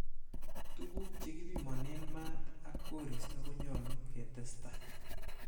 Tuguk che kipimonen maat ak koriisto konyolu ketesta.